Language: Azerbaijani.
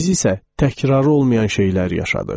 Biz isə təkrarı olmayan şeylər yaşadıq.